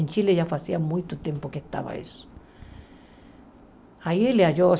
Em Chile já fazia muito tempo que estava isso. Aí ele achou